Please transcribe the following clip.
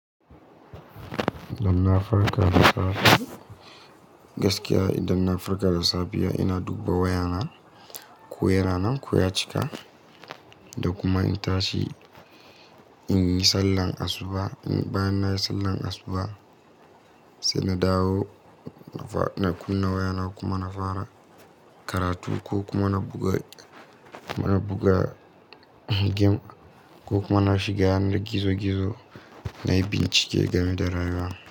Dan na farka da safe, gaskiya idan na farka da safiya ina dubba wayana. Ko yana nan, ko ya cika, da kuma in tashi in yi sallar asuba. Bayan na yi sallar asuba sai na dawo ina kuna waya na kuma na fara karatu ko kuma na buga, mana buga gem ko kuma shiga gizo-gizo na yi bincike game da rayuwa.